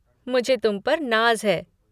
मुझे तुम पर नाज़ है।